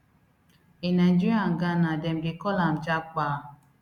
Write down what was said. in nigeria and ghana dem dey call am japa